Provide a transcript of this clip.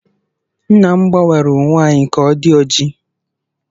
Nna m gbanwere uwe anyị ka ọ di oji